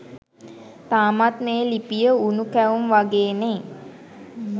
තාමත් මේ ලිපිය උණු කැවුම් වගේනේ